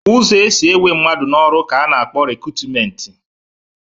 Ụzọ e si ewe mmadụ n'ọrụ ka a na-akpọ rekutumenti